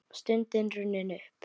Stundin runnin upp!